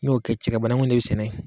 N'o kɛ cɛkɛ bananku in de bɛ sɛnɛ yen